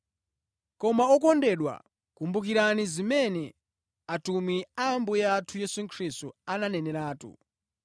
Koma okondedwa, kumbukirani zimene atumwi a Ambuye athu Yesu Khristu ananeneratu.